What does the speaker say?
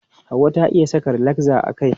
Hauwa ta iya saka rilakza a kai.